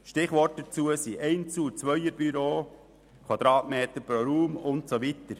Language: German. Stichworte dazu sind Einzel- und Zweierbüros, Quadratmeter pro Raum und so weiter.